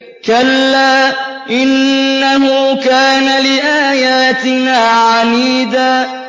كَلَّا ۖ إِنَّهُ كَانَ لِآيَاتِنَا عَنِيدًا